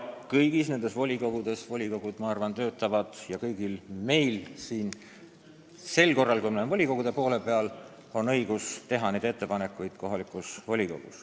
Kohalike omavalitsuste volikogud kindlasti töötavad ja meil kõigil, kui me oleme n-ö volikogude poole peal, on õigus seal ettepanekuid teha.